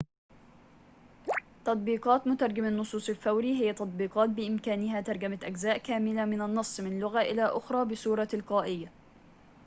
تطبيقات مترجم النصوص الفوري هي تطبيقات بإمكانها ترجمة أجزاء كاملة من النص من لغة إلى أخرى بصورة تلقائية